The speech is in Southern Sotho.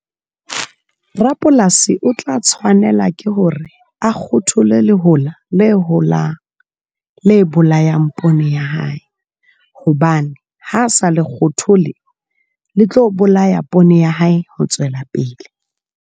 Rapolasi o tla tshwanela ke hore a kgothole le hola le holang le bolayang poone ya hae, hobane ha sa le kgothole le tlo bolaya poone ya hae ho tswela pele.